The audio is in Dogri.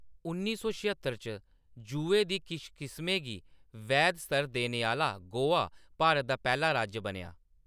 उन्नी सौ छेहत्तर च जुए दी किश किस्में गी वैध स्तर देने आह्‌‌‌ला गोवा भारत दा पैह्‌‌ला राज्य बनेआ।